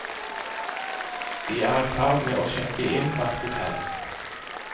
De er i ferd med å sjekke inn på et hotell.